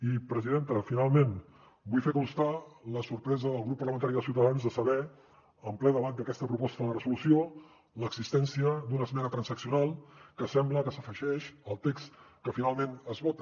i presidenta finalment vull fer constar la sorpresa del grup parlamentari de ciutadans en saber en ple debat d’aquesta proposta de resolució l’existència d’una esmena transaccional que sembla que s’afegeix al text que finalment es vota